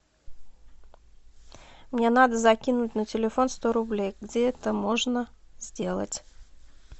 мне надо закинуть на телефон сто рублей где это можно сделать